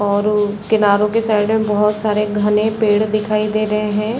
और किनारो के साइड में बहुत सारे घने पेड़ दिखाई दे रहे हैं ।